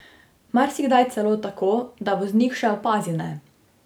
Marsikdaj celo tako, da voznik še opazi ne.